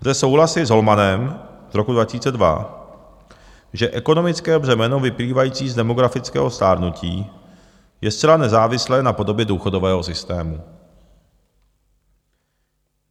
Lze souhlasit s Holmanem z roku 2002, že ekonomické břemeno vyplývající z demografického stárnutí je zcela nezávislé na podobě důchodového systému.